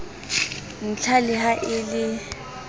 ntlha le ha e le